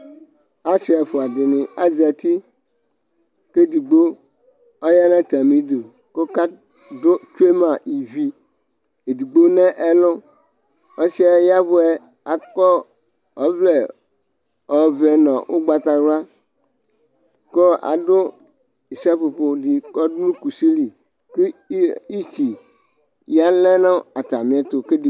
asi ɛfua dini azɛti kʋ ɛdigbo ɔyanʋ atami dʋ kʋ ɔka dʋ twɛ ma ivi edigbo nɛlʋ ɔsiɛ yavʋɛ akɔ ɔvlɛ ɔvɛ nʋ ʋgbatawula kɔ adʋ issa popo di kɔdʋ kʋsi li kʋ iti yalɛ nʋ atamiɛtʋ kʋ ɛdigbo